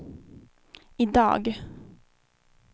idag